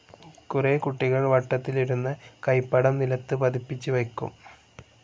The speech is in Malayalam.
കുറേ കുട്ടികൾ വട്ടത്തിലിരുന്ന് കൈപ്പടം നിലത്ത് പതിപ്പിച്ച് വയ്ക്കും.